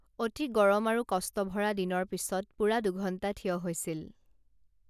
অতি গৰম আৰু কষ্টভৰা দিনৰ পিছত পুৰা দুঘণ্টা থিয় হৈছিল